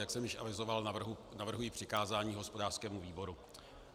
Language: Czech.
Jak jsem již avizoval, navrhuji přikázání hospodářskému výboru.